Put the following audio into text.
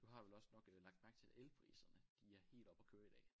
Du har vel også nok øh lagt mærke til elpriserne de er helt oppe og køre i dag